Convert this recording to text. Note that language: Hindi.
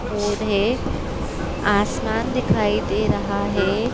बोर्ड है आसमान दिखाई दे रहा है।